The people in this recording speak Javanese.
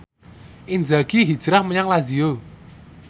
Inzaghi hijrah menyang Lazio